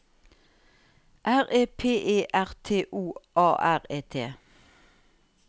R E P E R T O A R E T